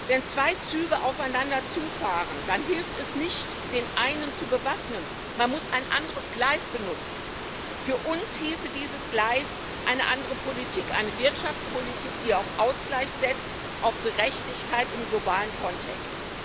Wenn zwei Züge aufeinander zu fahren, dann hilft es nicht, den einen zu bewaffnen man muss ein anderes Gleis benutzen. Für uns hieße dieses Gleis eine andere Politik eine Wirtschaftspolitik, die auf Ausgleich setzt, auf Gerechtigkeit im globalen Kontext.